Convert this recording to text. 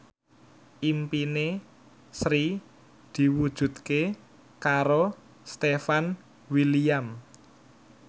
impine Sri diwujudke karo Stefan William